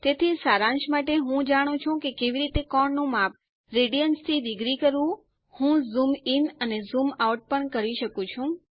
તેથી સારાંશ માટે હું જાણું છું કે કેવી રીતે કોણ નું માપ રેડિયન્સ થી ડિગ્રીસ કરવું હું ઝૂમ ઇન અને ઝૂમ આઉટ પણ કરી શકું છું